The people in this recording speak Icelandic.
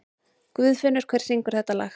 Guðfinnur, hver syngur þetta lag?